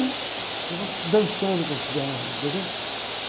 Ficava dançando com o cigarro, entendeu?